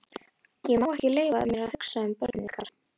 Ég má ekki leyfa mér að hugsa um börnin okkar.